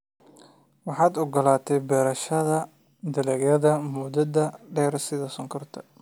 Waxaad ogolaatay beerashada dalagyada muddada dheer sida sonkorta.